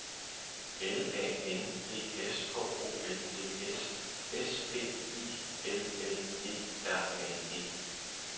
L A N D S H O L D S S P I L L E R N E